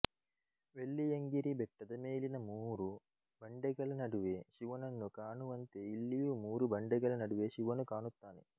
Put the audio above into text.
ವೆಲ್ಲಿಯಂಗಿರಿ ಬೆಟ್ಟದ ಮೇಲಿನ ಮೂರು ಬಂಡೆಗಳ ನಡುವೆ ಶಿವನನ್ನು ಕಾಣುವಂತೆ ಇಲ್ಲಿಯೂ ಮೂರು ಬಂಡೆಗಳ ನಡುವೆ ಶಿವನು ಕಾಣುತ್ತಾನೆ